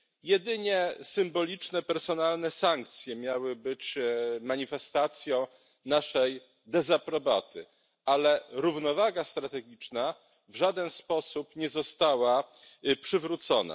Jedynie symboliczne personalne sankcje miały być manifestacją naszej dezaprobaty, ale równowaga strategiczna w żaden sposób nie została przywrócona.